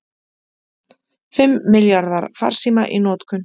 Fimm milljarðar farsíma í notkun